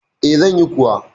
E, zan yi kuwa.